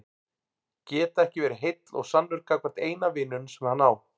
Geta ekki verið heill og sannur gagnvart eina vininum sem hann á.